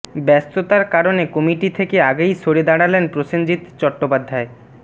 ব্যস্ততার কারণে কমিটি থেকে আগেই সরে দাঁড়ালেন প্রসেনজিৎ চট্টোপাধ্যায়